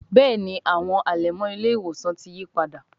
Béèni àwọn alẹmọ ile-iwosan tí yípadà.